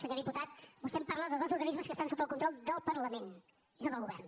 senyor diputat vostè em parla de dos organismes que estan sota el control del parlament i no del govern